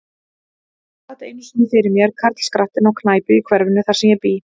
Hann sat einu sinni fyrir mér, karlskrattinn, á knæpu í hverfinu, þar sem ég bý.